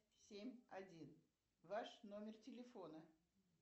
семь один ваш номер телефона